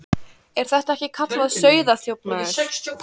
Er þetta ekki kallað sauðaþjófnaður?